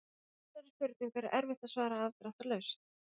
Þessari spurningu er erfitt að svara afdráttarlaust.